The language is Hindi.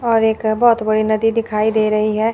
और एक बहोत बड़ी नदी दिखाई दे रही है।